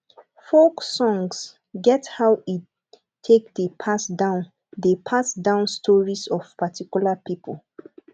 folk songs get how e take dey pass down dey pass down stories of a particular pipo